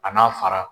A n'a fara